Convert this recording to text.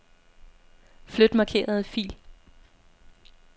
Flyt markerede fil.